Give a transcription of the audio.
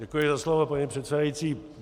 Děkuji za slovo, paní předsedající.